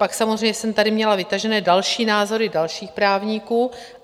Pak samozřejmě jsem tady měla vytažené další názory dalších právníků.